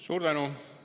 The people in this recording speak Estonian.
Suur tänu!